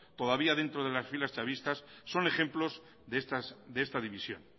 todavía dentro de las filas chavistas son ejemplos de esta división